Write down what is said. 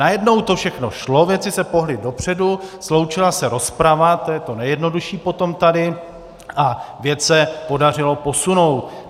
Najednou to všechno šlo, věci se pohnuly dopředu, sloučila se rozprava, to je to nejjednodušší potom tady, a věc se podařilo posunout.